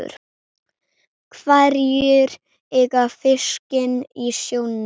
Hverjir eiga fiskinn í sjónum?